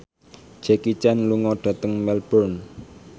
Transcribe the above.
Jackie Chan lunga dhateng Melbourne